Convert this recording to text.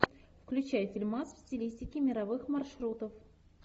включай фильмас в стилистике мировых маршрутов